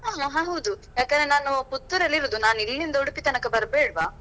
ಹ ಹೌದು ಯಾಕಂದ್ರೆ ನಾನು Puttur ರಲ್ಲಿ ಇರುದು ನಾನು ಇಲ್ಲಿಂದ Udupi ತನಕ ಬರ್ಬೇಡ್ವಾ?